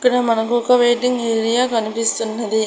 ఇక్కడ మనకు ఒక వెయిటింగ్ ఏరియా కనిపిస్తున్నది.